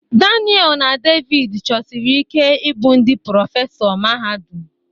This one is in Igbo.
Daniel na David chọsiri ike ịbụ ndị prọfesọ mahadum.